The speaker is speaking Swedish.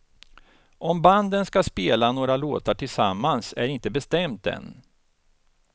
Om banden ska spela några låtar tillsammans är inte bestämt än.